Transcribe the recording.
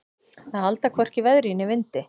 Að halda hvorki veðri né vindi